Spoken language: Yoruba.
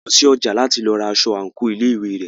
A lọ sí ọjà láti lọ ra aṣọ àńkò ilé ìwé rẹ̀.